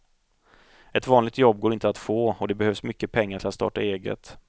Ett vanligt jobb går inte att få, och det behövs mycket pengar till att starta eget.